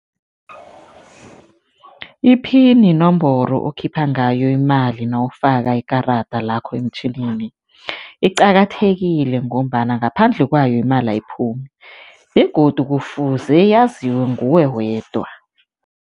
I-pin yinomboro okhipha ngayo imali nawufaka ikarada lakho emtjhinini. Iqakathekile ngombana ngaphandle kwayo, imali ayiphumi begodu kufuze yaziwe nguwe wedwa.